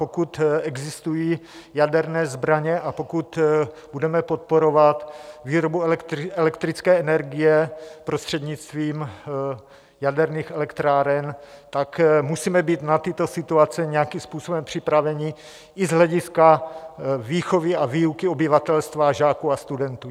Pokud existují jaderné zbraně a pokud budeme podporovat výrobu elektrické energie prostřednictvím jaderných elektráren, tak musíme být na tyto situace nějakým způsobem připraveni i z hlediska výchovy a výuky obyvatelstva, žáků a studentů.